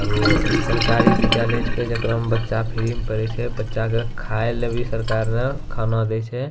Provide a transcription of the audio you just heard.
लगे होअ इ सरकारी विद्यालय छीये जेकरा में बच्चा फ्री में पढ़य छै बच्चा के खायला भी सरकार खाना दे छै।